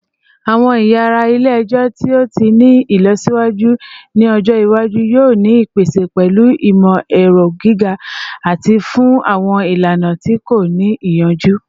Awọn yara ile-ẹjọ ti o ni ilọsiwaju ni ọjọ iwaju yoo ni ipese pẹlu imọ-ẹrọ gige-eti fun awọn ilana ti ko ni iyanju